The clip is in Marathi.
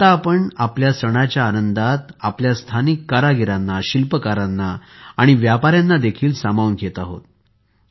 आता आपण आपल्या सणाच्या आनंदात आपल्या स्थानिक कारागिरांना शिल्पकारांना आणि व्यापाऱ्यांना देखील सामावून घेत आहोत